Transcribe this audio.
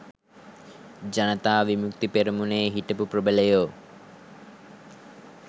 ජනතා විමුක්ති පෙරමුණේ හිටපු ප්‍රබලයෝ.